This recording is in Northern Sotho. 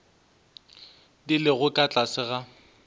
di lego ka tlase ga